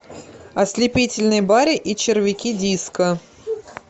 ослепительный барри и червяки диско